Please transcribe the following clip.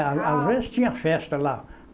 A às vezes tinha festa lá.